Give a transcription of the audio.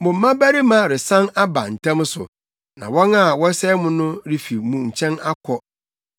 Mo mmabarima resan aba ntɛm so; na wɔn a wɔsɛe mo no refi mo nkyɛn akɔ.